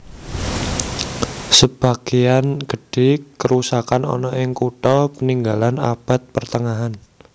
Sebageyan gedhe karusakan ana ing kutha paninggalan Abad Pertengahan